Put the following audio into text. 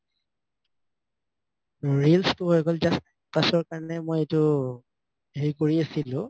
ৰিলচটো কাৰনে মই এইটো হেৰি কৰি আছিলো